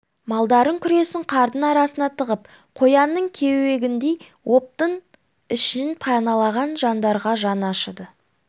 малдарын күресін қардың арасына тығып қоянның кеуегіндей оптың ішін паналаған жандарға жаны ашыды